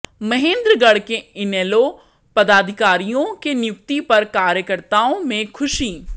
महेन्द्रगढ़ के इनेलो पदाधिकारियों की नियुक्ति पर कार्यकर्ताओं में खुशी